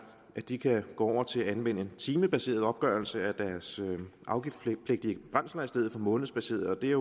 at de kan gå over til at anvende timebaseret opgørelse af deres afgiftspligtige brændsler i stedet for månedsbaseret og det